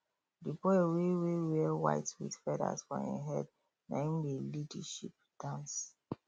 the boy wey wey wear white with feathers for him head naim dey lead the sheep dance